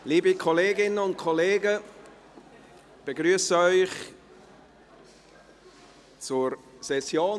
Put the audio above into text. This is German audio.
Liebe Kolleginnen und Kollegen, ich begrüsse Sie zur Session.